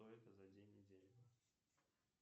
что это за день недели